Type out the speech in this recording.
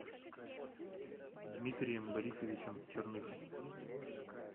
дмитрием борисовичем черных